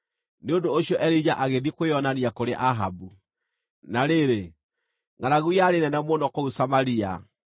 Nĩ ũndũ ũcio Elija agĩthiĩ kwĩonania kũrĩ Ahabu. Na rĩrĩ, ngʼaragu yarĩ nene mũno kũu Samaria,